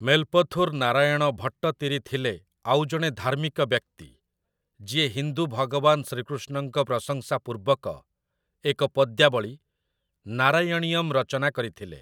ମେଲପଥୁର ନାରାୟଣ ଭଟ୍ଟତିରି ଥିଲେ ଆଉ ଜଣେ ଧାର୍ମିକ ବ୍ୟକ୍ତି, ଯିଏ ହିନ୍ଦୁ ଭଗବାନ ଶ୍ରୀକୃଷ୍ଣଙ୍କ ପ୍ରଶଂସାପୂର୍ବକ ଏକ ପଦ୍ୟାବଳୀ, 'ନାରାୟଣୀୟମ୍' ରଚନା କରିଥିଲେ ।